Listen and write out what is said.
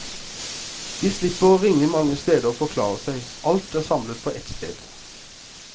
De slipper å ringe mange steder og forklare seg, alt er samlet på ett sted.